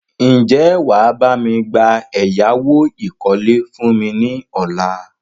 Ń jẹ́ wàá bami gba ẹ̀yáwó ìkọ́lé fún mi ní ọ̀la?